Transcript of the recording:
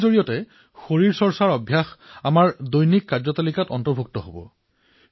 ইয়াৰ দ্বাৰা ফিটনেটৰ অভ্যাস আমাৰ দৈনন্দিন জীৱনত অন্তৰ্ভুক্ত হব